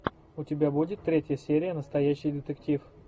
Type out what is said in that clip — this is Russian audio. у тебя будет третья серия настоящий детектив